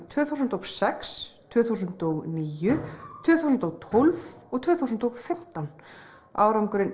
tvö þúsund og sex tvö þúsund og níu tvö þúsund og tólf og tvö þúsund og fimmtán árangurinn